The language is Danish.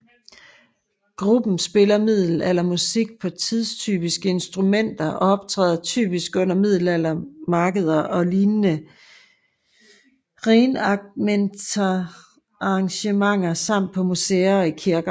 Gruppen spiller middelaldermusik på tidstypiske instrumenter og optræder typisk under middelaldermarkeder og lignende reenactmentarrangementer samt på museer og i kirker